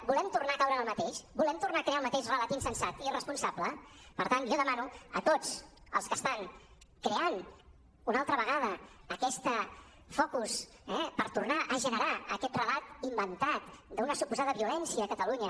volem tornar a caure en el mateix volem tornar a crear el mateix relat insensat i irresponsable per tant jo demano a tots els que estan creant una altra vegada aquest focus per tornar a generar aquest relat inventat d’una suposada violència a catalunya